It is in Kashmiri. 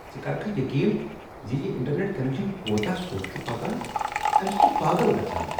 ژٕ کرکھٕ یقین ز یہ انٹرنیٹ کنکشن کوتاہ سوٚت چھ پکان؟ امہ سۭتۍ چھِ پاگل گژھان!